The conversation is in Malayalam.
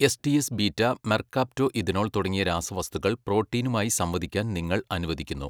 എസ്ഡിഎസ് ബീറ്റാ മെർകാപ്റ്റോഇഥനോൾ തുടങ്ങിയ രാസവസ്തുക്കൾ പ്രോട്ടീനുമായി സംവദിക്കാൻ നിങ്ങൾ അനുവദിക്കുന്നു.